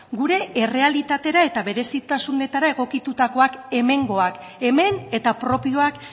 gure errealitatera eta berezitasunetara egokitutakoak hemengoak hemen eta propioak